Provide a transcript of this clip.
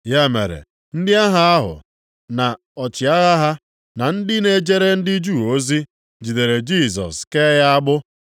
Ya mere ndị agha ahụ na ọchịagha ha, na ndị na-ejere ndị Juu ozi, jidere Jisọs kee ya agbụ.